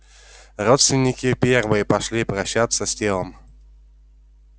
родственники первые пошли прощаться с телом